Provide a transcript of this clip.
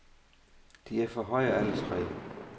De er for høje, alle tre.